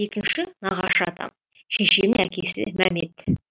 екіншісі нағашы атам шешемнің әкесі мәмет